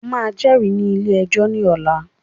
O máà jẹ́rìí ní ilé ẹjọ́ ní ọ̀la!